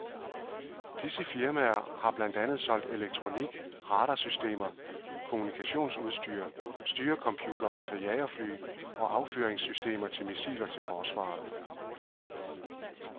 Disse firmaer har blandt andet solgt elektronik, radarsystemer, kommunikationsudstyr, styrecomputere til jagerfly og affyringssystemer til missiler til forsvaret.